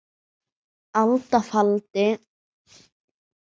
alda faldi